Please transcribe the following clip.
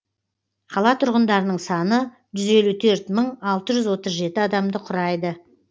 қала тұрғындарының саны жүз елу төрт мың алты жүз отыз жеті адамды құрайды